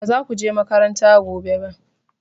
Ba za ku je makaranta gobe ba!